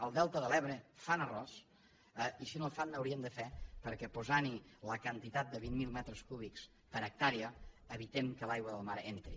al delta de l’ebre fan arròs i si no en fan n’haurien de fer perquè posant hi la quantitat de vint mil metres cúbics per hectàrea evitem que l’aigua del mar entri